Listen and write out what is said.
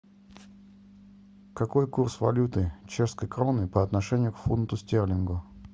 какой курс валюты чешской кроны по отношению к фунту стерлингу